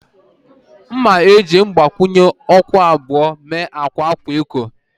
M ga-eji mgbakwunye okwu abụọ mee akwa akwa eko